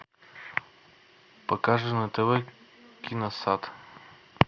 покажи на тв киносад